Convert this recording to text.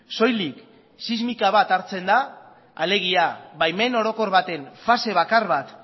soilik sismika bat hartzen da alegia baimen orokor baten fase bakar bat